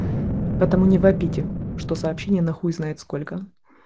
потому не вопите что сообщение на хуй знает сколько